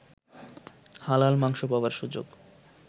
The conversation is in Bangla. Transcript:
হালাল মাংস পাবার সুযোগ